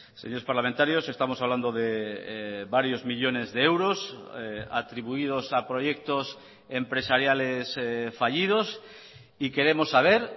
señores parlamentarios estamos hablando de varios millónes de euros atribuidos a proyectos empresariales fallidos y queremos saber